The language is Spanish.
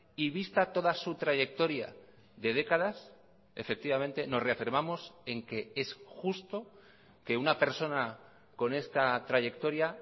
y vista toda su trayectoria de décadas efectivamente nos reafirmamos en que es justo que una persona con esta trayectoria